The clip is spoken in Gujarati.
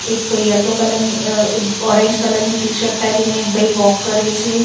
એક યેલો કલર ની અ ઓરેન્જ કલર ની ટીશર્ટ પેહરીને એક ભઈ વૉક કરે છે.